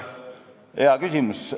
Hea küsimus.